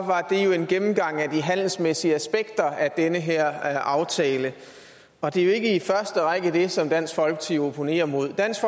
det jo en gennemgang af de handelsmæssige aspekter af den her aftale og det er jo ikke i første række det som dansk folkeparti opponerer mod dansk